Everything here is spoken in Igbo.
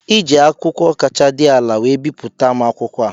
Iji akwụkwọ kacha dị ala wee bipụta m akwụkwọ a